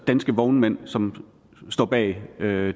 danske vognmænd som står bag